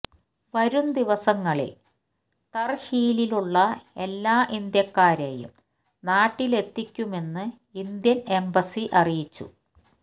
വരും ദിവസങ്ങളിൽ തർഹീലിലുള്ള എല്ലാ ഇന്ത്യക്കാരെയും നാട്ടിലെത്തിക്കുമെന്ന് ഇന്ത്യൻ എംബസി അറിയിച്ചു